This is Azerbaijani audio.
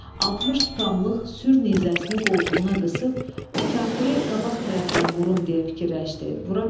60 tutamlıq sür nizəsini qoltuğuna qısıb, o kafiri qabaq tərəfdən vurum deyə fikirləşdi.